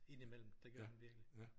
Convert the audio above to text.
Indimellem det gør han virkelig